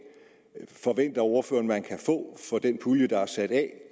forventer ordføreren at man kan få for den pulje der er sat af